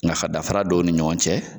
Nga ka danfara dɔn o ni ɲɔgɔn cɛ.